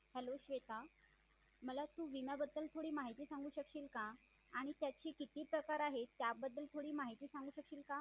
hello Shweta मला तू विमा बद्दल थोडी माहिती सांगू शकशील का आणि त्याचे किती प्रकार आहे त्याबद्दल थोडी माहिती सांगू शकशील का